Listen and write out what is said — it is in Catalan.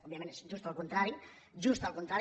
òbviament és just el contrari just el contrari